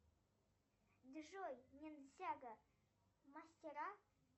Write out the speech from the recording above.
джой ниндзяго мастера